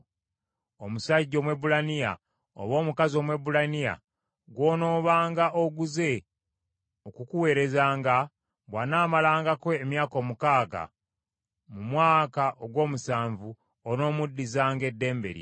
Omusajja Omwebbulaniya oba omukazi Omwebbulaniya gw’onoobanga oguze okukuweerezanga, bw’anaamalangako emyaka omukaaga, mu mwaka ogw’omusanvu onoomuddizanga eddembe lye.